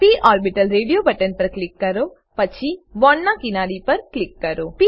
પ orbital radio button પર click કરો પછી બોન્ડના કિનારી પર ક્લિક કરો